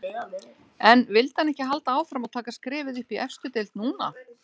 En vildi hann ekki halda áfram og taka skrefið upp í efstu deild núna?